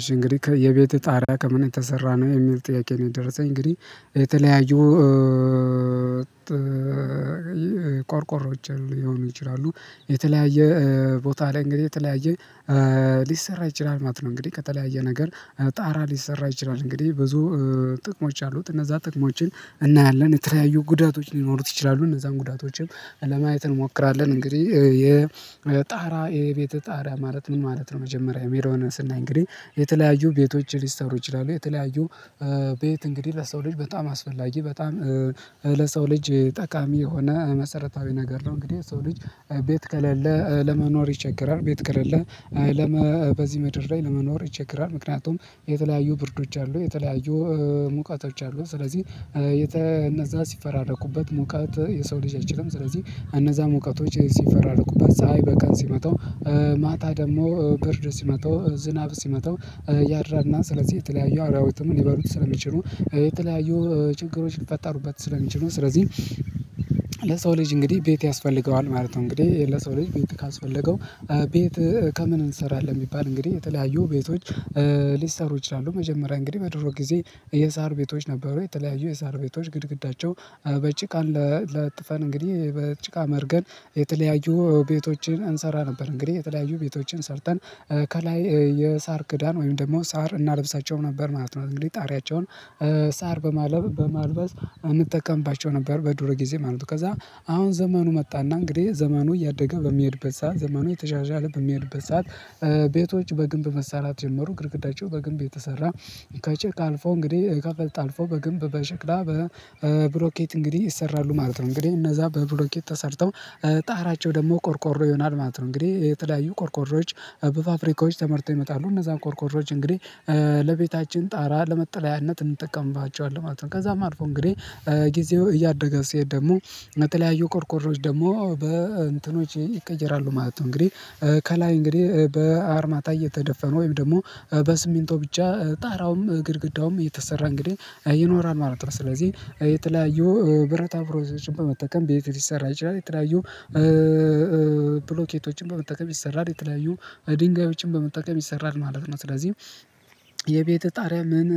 እሺ እንግዲህ የቤትህ ጣሪያ ከምን ተሰራ ነው የሚል ጥያቄ ነው? የደረሰኝ እንግዲህ የተለያዩ ቆርቆሮችን ሊሆኑ ይችላሉ የተለያየ ቦታ ላይ እንግዲህ የተለያየ ሊሰራ ይችላል ማለት ነው። እንግዲህ ከተለያየ ነገር ጣራ ሊሰራ ይችላል እንግዲህ ብዙ ጥቅሞች አሉት እነዛ ጥቅሞችን እናያለን የተለያዩ ጉዳቶች ሊኖሩት ይችላሉ እነዛን ጉዳቶችም ለማየት እንሞክራለን። እንግዲህ የ ጣራ የቤተ ጣራ ማለት ምን ማለት ነው? መጀመሪያ የሚለውን ስናይ እንግዲህ የተለያዩ ቤቶችን ሊሰሩ ይችላሉ የተለያዩ ቤት እንግዲህ ለሰው ልጅ በጣም አስፈላጊ በጣም ለሰው ልጅ ጠቃሚ የሆነ መሰረታዊ ነገር ነው። እንግዲህ ሰው ልጅ ቤት ከሌለ ለመኖር ይቸገራል ቤት ከሌለ በዚህ ምድር ላይ ለመኖር ይቸገራል። ምክንያቱም የተለያዩ ብርዶች አሉ የተለያዩ ሙቀቶች አሉ። ስለዚህ እነዛ ሲፈራረቁበት ሙቀት የሰው ልጅ አይችልም ስለዚህ እነዛ ሙቀቶች ሌሊት ሲፈራረቁበት ፀሀይ በቀን ሲመታው ማታ ደግሞ ብርድ ሲመተው ዝናብ ሲመተው ያድራልና። ስለዚህ የተለያዩ አራዊትም ሊበሉት ስለሚችሉ የተለያዩ ችግሮች ሊፈጠሩበት ስለሚችሉ ስለዚህ ለሰው ልጅ እንግዲህ ቤት ያስፈልገዋል ማለት ነው። እንግዲህ ለሰው ልጅ ቤት ካስፈለገው ቤት ከምን እንሰራለን የሚባል እንግዲህ የተለያዩ ቤቶች ሊሰሩ ይችላሉ። መጀመሪያ እንግዲህ በድሮ ጊዜ የሳር ቤቶች ነበሩ የተለያዩ የሳር ቤቶች ግድግዳቸው በጭቃን ለጥፈን እንግዲህ በጭቃ መርገን የተለያዩ ቤቶችን እንሰራ ነበር። እንግዲህ የተለያዩ ቤቶችን ሰርተን ከላይ የሳር ክዳን ወይም ደግሞ ሳር እናልብሳቸው ነበር ማለት ነው። እንግዲህ ጣሪያቸውን ሳር በማለብ በማልበስ እንጠቀምባቸው ነበር በዱሮ ጊዜ ማለት ነው። ከዛ አሁን ዘመኑ መጣና እንግዲህ ዘመኑ እያደገ በሚሄድበት ሰዓት ዘመኑ የተሻሻለ በሚሄድበት ሰዓት ቤቶች በግንብ መሳራት ጀመሩ ግድግዳቸው በግንብ የተሰራ ከጭቃ አልፎ እንግዲህ ከፍልጥ አልፎ በግንብ በሽክላ በብሎኬት እንግዲህ ይሰራሉ ማለት ነው። እንግዲህ እነዛ በብሎኬት ተሰርተው ጣራቸው ደግሞ ቆርቆሮ ይሆናል ማለት ነው። እንግዲህ የተለያዩ ቆርቆሮዎች በፋፍሪካዎች ተመርተው ይመጣሉ እነዛን ቆርቆሮዎች እንግዲህ ለቤታችን ጣራ ለመጠለያነት እንጠቀምባቸዋለን ማለት ነው። ከዛም አልፎ እንግዲህ ጊዜው እያደገ ሲሄድ ደግሞ የተለያዩ ቆርቆሮዎች ደግሞ በእንትኖች ይቀየራሉ ማለት ነው። እንግዲህ ከላይ እንግዲህ በአርማታ እየተደፈነ ወይም ደግሞ በስሚንቶ ብቻ ጣራውም ግድግዳውም የተሰራ እንግዲህ ይኖራል ማለት ነው። ስለዚህ የተለያዩ ብረታ ብረቶች በመጠቀም ቤት ሊሰራ ይችላል የተለያዩ ብሎኬቶችን በመጠከም ይሰራል የተለያዩ ድንጋዮችን በመጠከም ይሰራል ማለት ነው። ስለዚህ የቤትህ ጣሪያ ምን